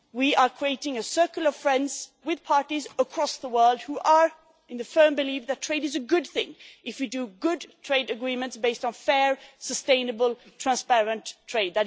We are creating a circle of friends with parties across the world who are of the firm belief that trade is a good thing if we make good trade agreements based on fair, sustainable and transparent trade.